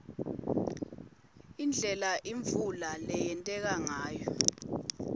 indlela imvula leyenteka ngayo